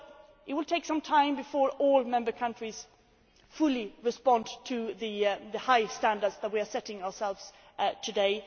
It will take some time before all Member States fully respond to the high standards that we are setting ourselves today.